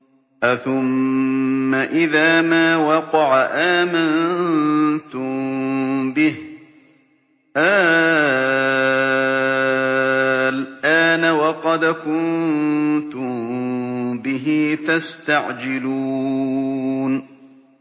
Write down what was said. أَثُمَّ إِذَا مَا وَقَعَ آمَنتُم بِهِ ۚ آلْآنَ وَقَدْ كُنتُم بِهِ تَسْتَعْجِلُونَ